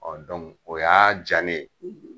o y'a diya ne ye.